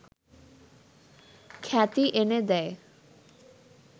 খ্যাতি এনে দেয়